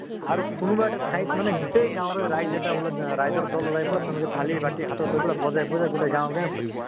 আৰু কোনোবা এটা ঠাইত মানে গোটেই গাঁৱৰে ৰাইজ এটা আহ ৰাইজৰ দল ওলাই পালে তেনেকে থালি বাতি হাতত লৈ পালে বজাই বজাই গোটেই গাঁৱে গাঁৱে ফুৰিছে।